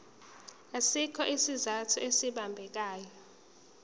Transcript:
asikho isizathu esibambekayo